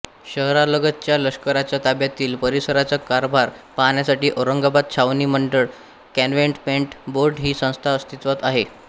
शहरालगतच्या लष्कराच्या ताब्यातील परिसराचा कारभार पाहण्यासाठी औरंगाबाद छावणी मंडळ कॅन्टोन्मेंट बोर्ड ही संस्था अस्तित्वात आहे